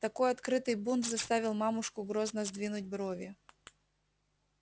такой открытый бунт заставил мамушку грозно сдвинуть брови